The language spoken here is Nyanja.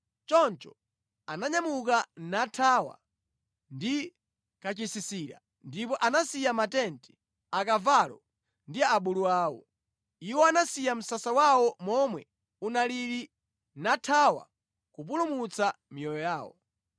Choncho ananyamuka nathawa ndi kachisisira ndipo anasiya matenti, akavalo ndi abulu awo. Iwo anasiya msasa wawo momwe unalili nathawa kupulumutsa miyoyo yawo.